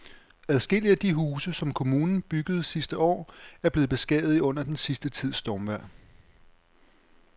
Adskillige af de huse, som kommunen byggede sidste år, er blevet beskadiget under den sidste tids stormvejr.